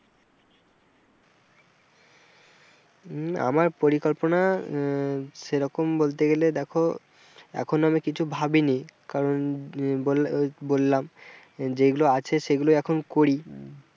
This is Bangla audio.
উম আমার পরিকল্পনা আহ সেরকম বলতে গেলে দেখো এখন আমি কিছু ভাবিনি কারণ ওই বললাম যেগুলো আছে সেগুলো এখন করি,